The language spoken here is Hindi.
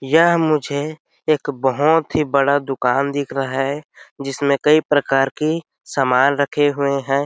यह मुझे एक बहुत ही बड़ा दुकान दिख रहा है जिसमें कई प्रकार के सामान रखे हुए हैं।